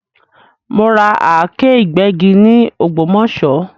Mo ra Àáké ìgbẹ́gi ni ògbómòṣó